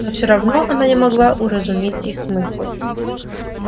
но все равно она не могла уразуметь их смысл